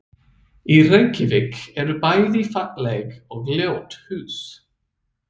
Í Reykjavík eru bæði falleg og ljót hús.